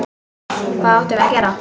Hvað áttum við að gera?